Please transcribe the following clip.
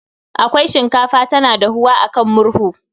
Akwai shinkafa tana dahuwa a kan murhu